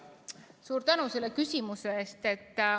Suur tänu selle küsimuse eest!